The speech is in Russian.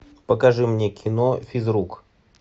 покажи мне кино физрук